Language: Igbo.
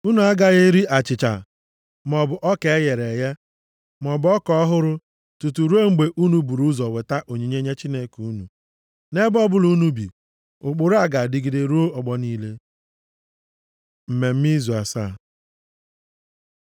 Unu agaghị eri achịcha, maọbụ ọka e ghere eghe, maọbụ ọka ọhụrụ tutu ruo mgbe unu buru ụzọ weta onyinye nye Chineke unu. Nʼebe ọbụla unu bi, ụkpụrụ a ga-adịgide ruo ọgbọ niile. Mmemme Izu Asaa